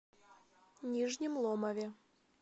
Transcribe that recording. нижнем ломове